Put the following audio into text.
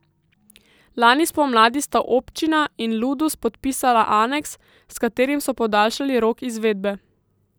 Lani spomladi sta občina in Ludus podpisala aneks, s katerim so podaljšali rok izvedbe.